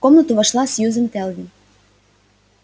в комнату вошла сьюзен кэлвин